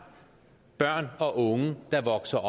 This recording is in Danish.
børn og unge der vokser